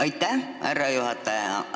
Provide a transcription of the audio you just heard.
Aitäh, härra juhataja!